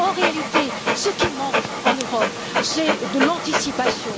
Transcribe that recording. En réalité, ce qui manque en Europe, c'est de l'anticipation.